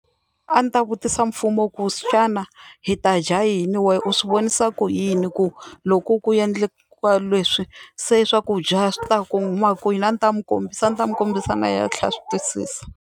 A ndzi ta vutisa mfumo ku xana hi ta dya yini wena u swi vonisa ku yini ku loku ku endleka leswi se swakudya swi ta ku huma kwini a ndzi ta n'wi kombisa a ndzi ta n'wi kombisa na yehe a tlhela a swi twisisa.